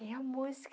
Tem a música.